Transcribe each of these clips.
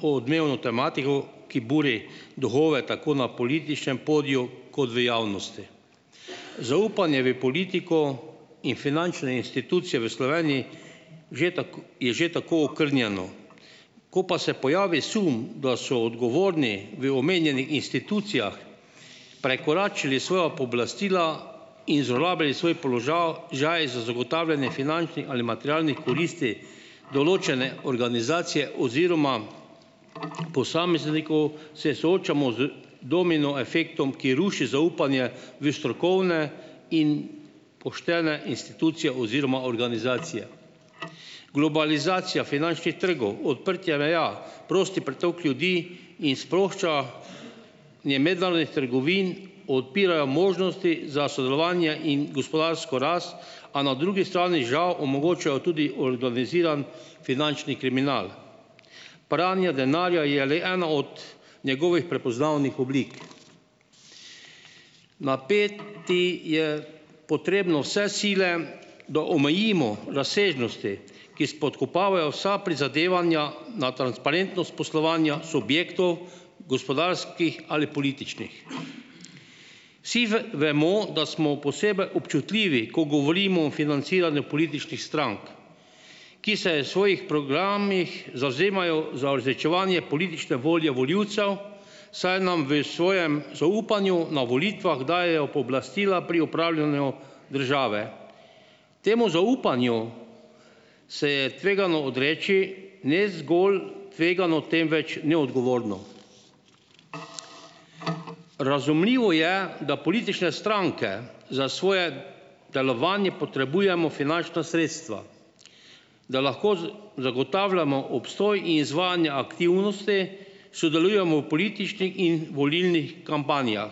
... o odmevno tematiko, ki buri duhove tako na političnem podiju kot v javnosti. Zaupanje v politiko in finančne institucije v Sloveniji že je že tako okrnjeno, ko pa se pojavi sum, da so odgovorni v omenjenih institucijah prekoračili svoja pooblastila in zlorabljali svoj položaj za zagotavljanje finančnih ali materialnih koristi določene organizacije oziroma posameznikov, se soočamo z domino efektom, ki ruši zaupanje v strokovne in poštene institucije oziroma organizacije. Globalizacija finančnih trgov, odprtje meja, prosti pretok ljudi in sprošča- nje mednarodnih trgovin odpirajo možnosti za sodelovanje in gospodarsko rast, a na drugi strani žal omogočajo tudi organizirani finančni kriminal. Pranje denarja je le ena od njegovih prepoznavnih oblik. Napeti je potrebno vse sile, da omejimo razsežnosti, ki spodkopavajo vsa prizadevanja na transparentnost poslovanja subjektov, gospodarskih ali političnih. Vsi vemo, da smo posebej občutljivi, ko govorimo o financiranju političnih strank, ki se svojih programih zavzemajo za uresničevanje politične volje volivcev, saj nam v svojem zaupanju na volitvah dajejo pooblastila pri upravljanju države. Temu zaupanju se je tvegano odreči, ne zgolj tvegano, temveč neodgovorno. Razumljivo je, da politične stranke za svoje delovanje potrebujemo finančna sredstva, da lahko zagotavljamo obstoj in izvajanja aktivnosti, sodelujemo v političnih in volilnih kampanjah,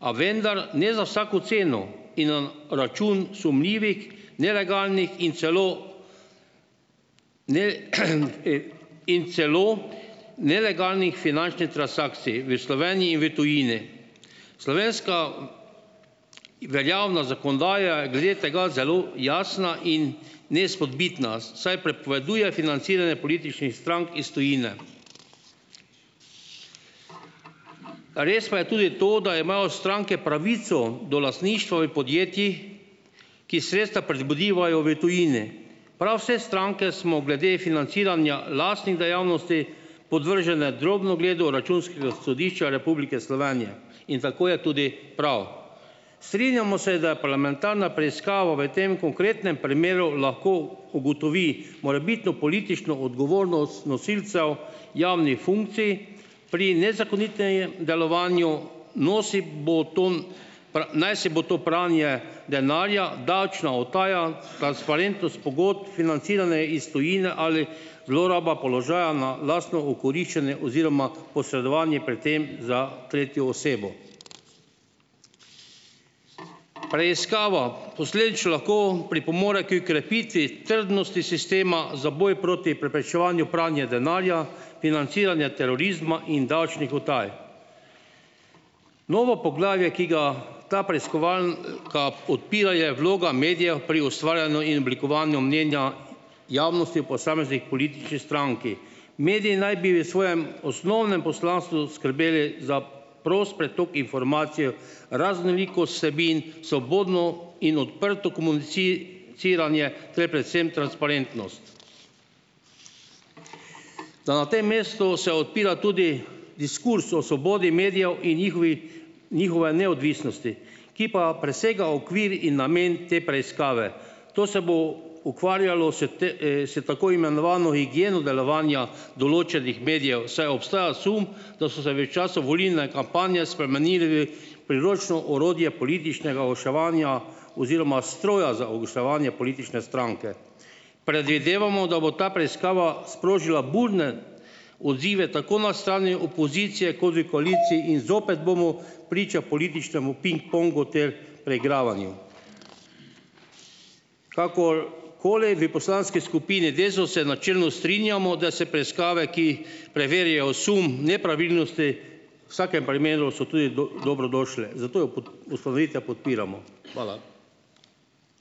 a vendar ne za vsako ceno in na račun sumljivih, nelegalnih in celo in celo nelegalnih finančnih transakcij v Sloveniji in v tujini. Slovenska veljavna zakonodaja je glede tega zelo jasna in neizpodbitna, saj prepoveduje financiranje političnih strank iz tujine. Res pa je tudi to, da imajo stranke pravico do lastništva v podjetjih, ki sredstva pridobivajo v tujini. Prav vse stranke smo glede financiranja lastnih dejavnosti podvržene drobnogledu Računskega sodišča Republike Slovenije in tako je tudi prav. Strinjamo se, da parlamentarna preiskava v tem konkretnem primeru lahko ugotovi morebitno politično odgovornost nosilcev javnih funkcij pri nezakonitem delovanju, naj si bo to pranje denarja, davčna utaja, transparentnost pogodb, financiranje iz tujine ali zloraba položaja na lastno okoriščanje oziroma posredovanje pri tem za tretjo osebo. Preiskava posledično lahko pripomore h krepitvi trdnosti sistema za boj proti preprečevanju pranja denarja, financiranja terorizma in davčnih utaj. Novo poglavje, ki ga ta preiskovalka odpira, je vloga medijev pri ustvarjanju in oblikovanju mnenja javnosti o posamezni politični stranki. Mediji naj bi v svojem osnovnem poslanstvu skrbeli za prost pretok informacij, raznolikost vsebin, svobodno in odprto komuniciranje ter predvsem transparentnost. Da na tem mestu se odpira tudi diskurz o svobodi medijev in njihovi njihove neodvisnosti, ki pa presega okvir in namen te preiskave. To se bo ukvarjalo s s tako imenovano higieno delovanja določenih medijev, saj obstaja sum, da so se v času volilne kampanje spremenili v priročno orodje političnega oglaševanja oziroma stroja za oglaševanje politične stranke. Predvidevamo, da bo ta preiskava sprožila burne odzive tako na strani opozicije kot v koaliciji in zopet bomo priča političnem pingpongu ter preigravanju. Kakor koli, v poslanski skupini Desus se načelno strinjamo, da preiskave, ki preverjajo sum nepravilnosti, v vsakem primeru so tudi dobrodošle. Zato ustanovitev podpiramo. Hvala.